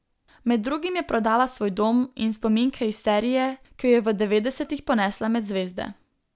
Med drugim je prodala svoj dom in spominke iz serije, ki jo je v devetdesetih ponesla med zvezde.